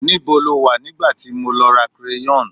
níbo lo wa nigba ti mo lọ ra crayon